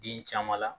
Den caman la